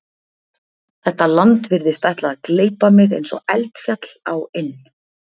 Þetta land virðist ætla að gleypa mig eins og eldfjall á inn